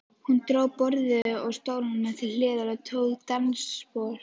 Hún dró borðið og stólana til hliðar og tók dansspor.